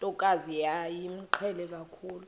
ntokazi yayimqhele kakhulu